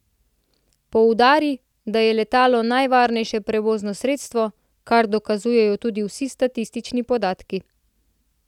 Poudari, da je letalo najvarnejše prevozno sredstvo, kar dokazujejo tudi vsi statistični podatki.